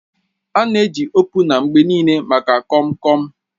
A na-achọ opuna mgbe niile maka Kom kom